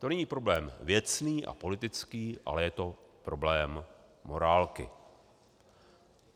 To není problém věcný a politický, ale je to problém morálky.